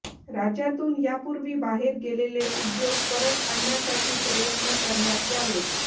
राज्यातून यापूर्वी बाहेर गेलेले उद्योग परत आणण्यासाठी प्रयत्न करण्यात यावेत